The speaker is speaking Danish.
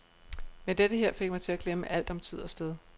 Men dette her fik mig til at glemme alt om tid og sted.